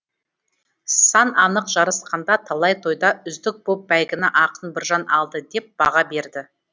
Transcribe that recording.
сан анық жарысқанда талай тойда үздік боп бәйгіні ақын біржан алды деп баға береді